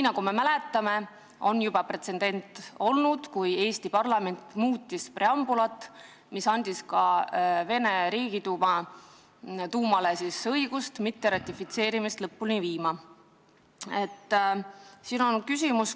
Nagu me mäletame, on juba pretsedent olnud: Eesti parlament muutis preambulit, mis andis Venemaa Riigiduumale õiguse ratifitseerimist mitte lõpule viia.